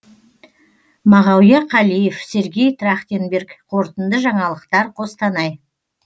мағауия қалиев сергей трахтенберг қорытынды жаңалықтар қостанай